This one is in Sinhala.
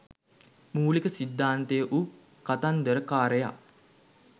මූලික සිද්ධාන්තය වූ කතන්දර කාරයා